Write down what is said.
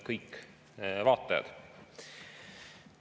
Kõik vaatajad!